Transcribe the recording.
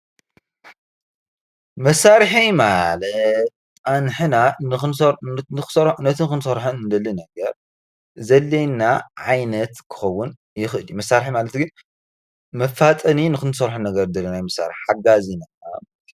መሳርሒ ማለት ኣንሕና ነቲ ክንሶርሖ እንደልዮ ነገር ዘድልየና ዓይነት ኽኸውን ይኽእል እዩ። መሳርሒ ማለት ግን መፋጠኒ ንክሰርሖ እንደሊ ነገር ሓጋዚ ማለት እዩ።